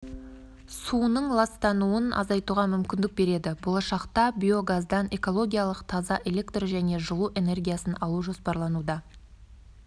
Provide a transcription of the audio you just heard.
суының ластануын азайтуға мүмкіндік береді болашақта биогаздан экологиялық таза электр және жылу энергиясын алу жоспарлануда